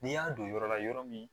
N'i y'a don yɔrɔ la yɔrɔ min